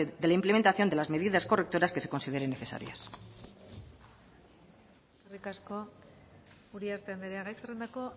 de la implementación de las medidas correctoras que se consideren necesarias eskerrik asko uriarte andrea gai zerrendako